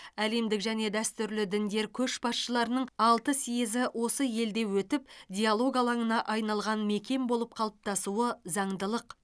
әлемдік және дәстүрлі діндер көшбасшыларының алты съезі осы елде өтіп диалог алаңына айналған мекен болып қалыптасуы заңдылық